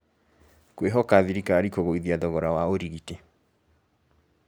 Kwĩhoka thirikari kũgũithia thogora wa ũrigiti